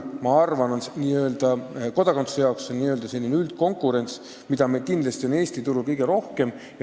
Ma arvan, et kodakondsuse saamiseks vajaliku keeleõppe puhul saame rääkida üldkonkurentsist ja selline õpe on meil Eesti turul kõige paremini kaetud.